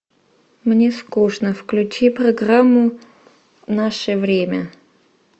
мне скучно включи программу наше время